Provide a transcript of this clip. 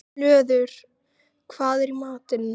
Hlöður, hvað er í matinn?